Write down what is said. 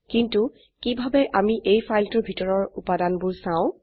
কিন্তু কিভাবে আমি এই ফাইলটোৰ ভিতৰৰ উপাদানবোৰ চাও